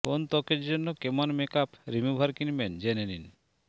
কোন ত্বকের জন্য কেমন মেকআপ রিমুভার কিনবেন জেনে নিন